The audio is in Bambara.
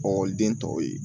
Ɔkɔliden tɔw ye